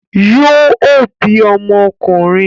Yóò bí ọmọ ọkùnrin